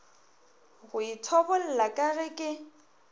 go ithobolla ka ge ke